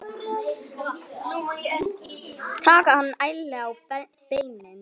Taka hann ærlega á beinið.